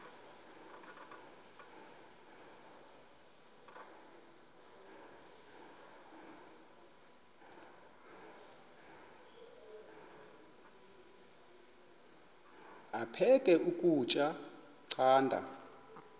aphek ukutya canda